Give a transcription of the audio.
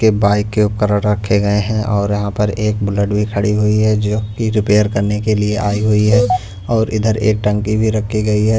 के बाइक के उपकरण रखे गए हैं और यहां पर एक बुलेट भी खड़ी हुई है जो कि रिपेयर करने के लिए आई हुई है और इधर एक टंकी भी रखी गई है।